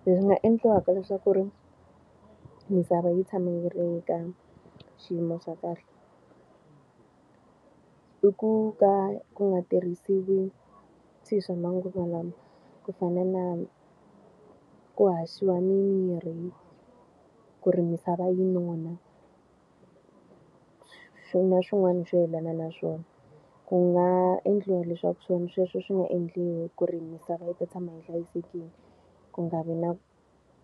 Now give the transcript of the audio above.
Swi nga endliwaka leswaku ri misava yi tshama yi ri ka xiyimo xa kahle, i ku ka ku nga tirhisiwi swilo swa manguva lawa. Ku fana na ku haxiwa mimirhi ku ri misava yi nona, na swin'wana swo yelana na swona. Ku nga endliwa leswaku swilo sweswo swi nga endliwi ku ri misava yi ta tshama yi hlayisekile, ku nga vi na